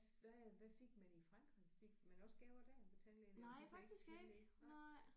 Hvad hvad fik man i Frankrig fik man også gaver der ved tandlægen eller det var det gjorde I ikke nej